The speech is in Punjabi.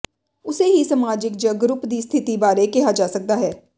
ਉਸੇ ਹੀ ਸਮਾਜਿਕ ਜ ਗਰੁੱਪ ਦੀ ਸਥਿਤੀ ਬਾਰੇ ਕਿਹਾ ਜਾ ਸਕਦਾ ਹੈ